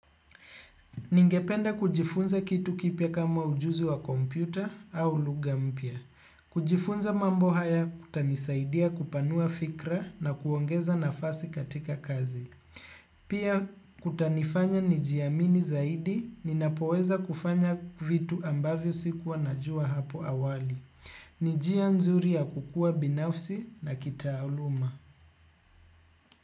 Ningependa kujifunza kitu kipya kama ujuzi wa kompyuta au lugha mpya. Kujifunza mambo haya kutanisaidia kupanua fikra na kuongeza nafasi katika kazi. Pia kutanifanya nijiamini zaidi ninapoweza kufanya vitu ambavyo sikuwa najua hapo awali. Ni njia nzuri ya kukua binafsi na kitaaluma.